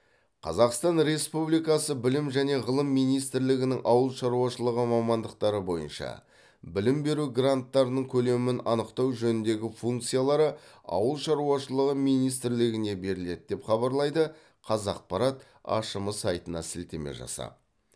қазақстан республикасы білім және ғылым министрлігінің ауыл шаруашылығы мамандықтары бойынша білім беру гранттарының көлемін анықтау жөніндегі функциялары ауыл шаруашылығы министрлігіне беріледі деп хабарлайды қазақпарат ашм сайтына сілтеме жасап